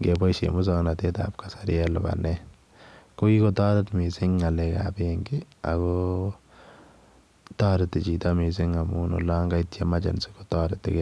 nebaisheen musangnatet ab kasari en lupaneet ko kikotaret missing ngalek ab benki ako taretii chito missing amuun olaan kait [emergency] kotaretii gei.